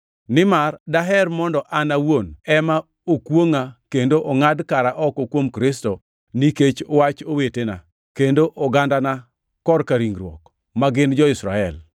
Nimar daher mondo an awuon ema okwongʼa kendo ongʼad kara oko kuom Kristo, nikech wach owetena, kendo ogandana korka ringruok, ma gin jo-Israel.